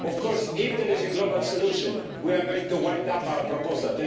Of course, if there is a global solution, we are going to wind up our proposal.